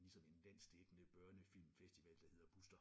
Ligesom en landsdækkende børnefilmfestival der hedder Buster